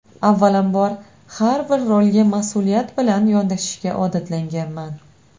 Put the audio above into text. Avvalambor har bir rolga mas’uliyat bilan yondashishga odatlanganman.